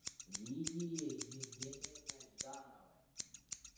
лидией евгеньевной ждановой